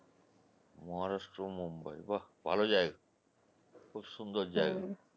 maharashtra Mumbai বাহ! ভালো জায়গা খুব সুন্দর জায়গা